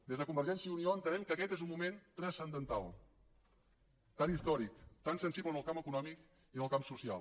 des de convergència i unió entenem que aquest és un moment transcendental tan històric tan sensible en el camp econòmic i en el camp social